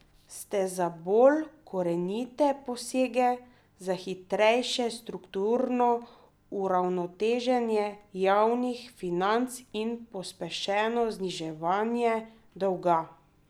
Ste za bolj korenite posege za hitrejše strukturno uravnoteženje javnih financ in pospešeno zniževanje dolga?